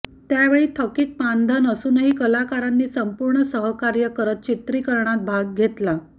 त्यावेळी थकीत मानधन असूनही कलाकारांनी संपूर्ण सहकार्य करत चित्रीकरणात भाग घेतला